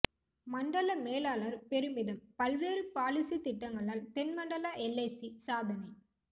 மண்டல மேலாளர் பெருமிதம் பல்வேறு பாலிசி திட்டங்களால் தென் மண்டல எல்ஐசி சாதனை